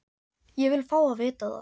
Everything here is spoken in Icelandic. Ég vil fá að vita það!